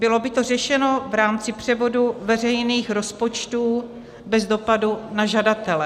Bylo by to řešeno v rámci převodu veřejných rozpočtů bez dopadu na žadatele.